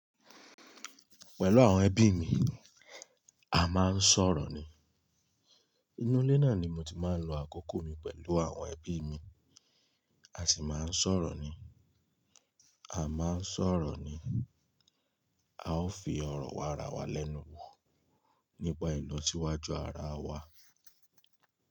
Pẹ̀lú àwọn ẹbí mi, a máa ń sọ̀rọ̀ ni. Inú ilé náà ni mo ti máa ń lo àkókò mi pẹ̀lú àwọn ẹbí mi, a sì máa ń sọ̀rọ̀ ni. A máa ń sọ̀rọ̀ ni, a ó fi ọ̀rọ̀ wa ara wa lẹ́nu wò nípa ìlọsíwájú ara wa.